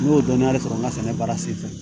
N y'o dɔnn de sɔrɔ n ka sɛnɛ baara sen fɛ